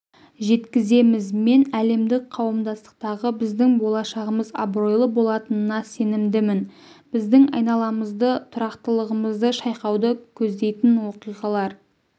жеткіземіз мен әлемдік қауымдастықтағы біздің болашағымыз абыройлы болатынына сенімдімін біздің айналамызды тұрақтылығымызды шайқауды көздейтін оқиғалар